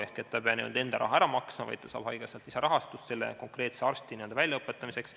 Ehk ta ei pea enda raha ära maksma, vaid ta saab haigekassalt lisarahastust selle konkreetse arsti väljaõpetamiseks.